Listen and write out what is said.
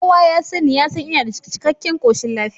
Kowa ya sanni ya san ina da cikkaken koshin lafiya